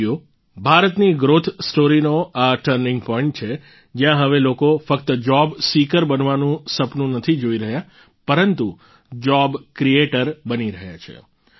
સાથીઓ ભારતની ગ્રોથ સ્ટોરીનો આ ટર્નિંગ પોઈન્ટ છે જ્યાં હવે લોકો ફક્ત જોબ સીકર બનાવાનું સપનું નથી જોઈ રહ્યા પરંતુ જોબ ક્રિએટર બની રહ્યા છે